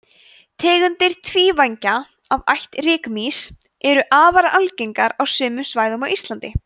tegundir tvívængja af ætt rykmýs eru afar algengar á sumum svæðum á íslandi